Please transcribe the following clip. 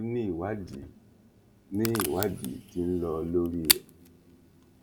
o ní ìwádìí ní ìwádìí tí ń lọ lórí ẹ